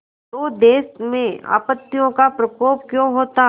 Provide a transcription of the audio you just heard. तो देश में आपत्तियों का प्रकोप क्यों होता